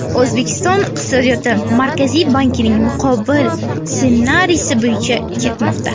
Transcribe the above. O‘zbekiston iqtisodiyoti Markaziy bankning muqobil ssenariysi bo‘yicha ketmoqda.